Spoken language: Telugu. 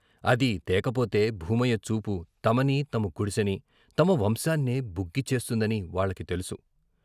అది తేకపోతే భూమయ్య చూపు తమని, తమ గుడిసెని, తమ వంశాన్నే బుగ్గి చేస్తుందని వాళ్ళకు తెలుసు.